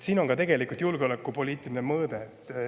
Siin on ka tegelikult julgeolekupoliitiline mõõde.